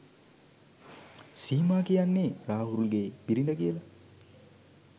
සීමා කියන්නේ රාහුල්ගේ බිරිඳ කියලා